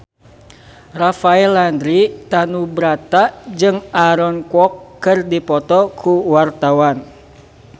Rafael Landry Tanubrata jeung Aaron Kwok keur dipoto ku wartawan